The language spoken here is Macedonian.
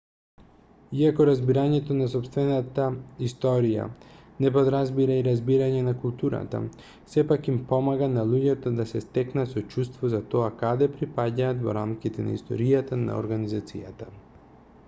иако разбирањето на сопствената историја не подразбира и разбирање на културата сепак им помага на луѓето да се стекнат со чувство за тоа каде припаѓаат во рамките на историјата на организацијата